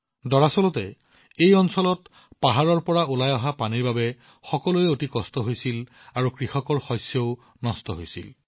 দৰাচলতে এই অঞ্চলত পৰ্বতৰ পৰা পানী ওলাই অহাৰ ফলত মানুহবোৰৰ বাবে সমস্যা হৈছিল কৃষক আৰু তেওঁলোকৰ শস্যও ক্ষতিগ্ৰস্ত হৈছিল